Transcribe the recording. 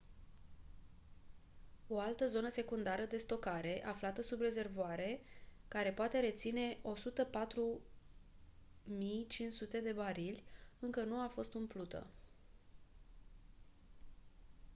o altă zonă secundară de stocare aflată sub rezervoare care poate reține 104.500 de barili încă nu a fost umplută